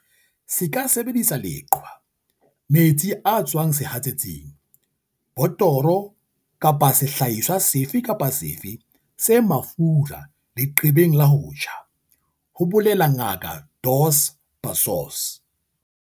"Se ka sebedisa leqhwa, metsi a tswang sehatsetsing, botoro kapa sehlahiswa sefe kapa sefe se mafura leqebeng la ho tjha," ho bolela Ngaka Dos Passos.